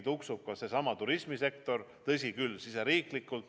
Tuksub ka seesama turismisektor, tõsi küll, riigisiseselt.